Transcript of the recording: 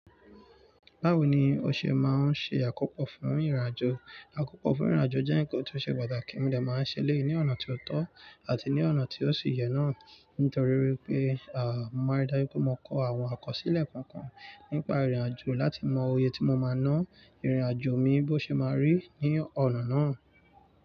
Báwo ni o ṣe máa ń ṣe àkópọ̀ fún ìrìnàjò? Àkópọ̀ fún ìrìnàjò jẹ́ ǹkan tó ṣe pàtàkì, mí lè máa ń ṣe lé ní ọ̀nà tí ó tọ́ àti ní ọ̀nà tí ó sì yẹ náà. Nítorí wípé, à, mo máa rí dájú pé mo kọ àwọn àkọsílẹ̀ kọ̀ọ̀kan nípa ìrìnàjò láti mọ iye tí mo máa naa ìrìnàjò mi bó ṣe máa rí ní ọ̀nà náà.